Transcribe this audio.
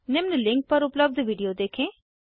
निम्न लिंक पर उपलब्ध वीडियो देखें